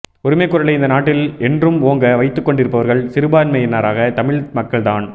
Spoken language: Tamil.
உரிமைக் குரலை இந்த நாட்டில் என்றும் ஓங்க வைத்துக்கொண்டிருப்பவர்கள் சிறுபான்மையினரான தமிழ் மக்கள்தான்